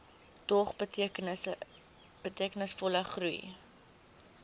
dog betekenisvolle groei